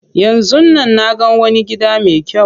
Yanzun nan naga wani gida me kyau.